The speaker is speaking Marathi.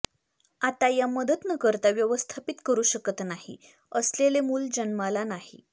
आता या मदत न करता व्यवस्थापित करू शकत नाही असलेले मूल जन्माला नाही